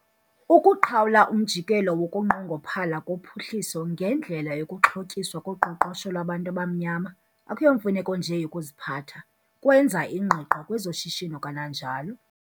Ukuqhawula umjikelo wokunqongophala kophuhliso ngendlela yokuxhotyiswa koqoqosho lwabantu abamnyama akuyomfuneko nje yokuziphatha, kwenza ingqiqo kwezoshishino kananjalo.